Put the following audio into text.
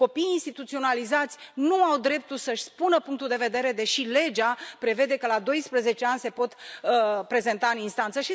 Copiii instituționalizați nu au dreptul să își spună punctul de vedere, deși legea prevede că la doisprezece ani se pot prezenta în instanță.